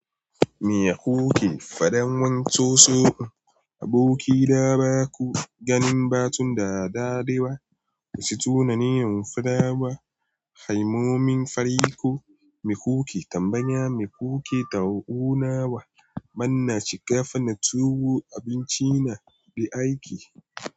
Me kuke faɗan wan so so? Aboki na ba ku ganin batun da dadewa. Wasu tunanin fa da ba. Kalmomi fari ko me kuke tambaya? Me kuke tauna wa? Manna shiga fannin tuwo, abinci na, be aiki.